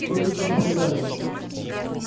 сколько же вы проиграли